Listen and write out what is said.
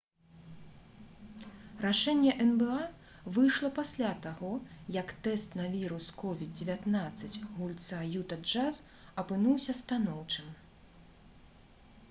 рашэнне нба выйшла пасля таго як тэст на вірус covid-19 гульца «юта джаз» апынуўся станоўчым